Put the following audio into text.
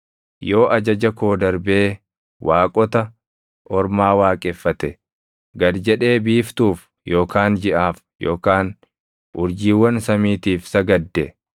yoo ajaja koo darbee waaqota ormaa waaqeffate, gad jedhee biiftuuf yookaan jiʼaaf yookaan urjiiwwan samiitiif sagadde,